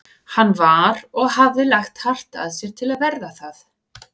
Hann var- og hafði lagt hart að sér til að verða það